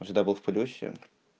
он всегда был в плюсе